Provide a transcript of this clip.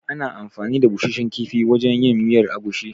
Ana anfani da busasshen kifi wajen yin miyar agushi.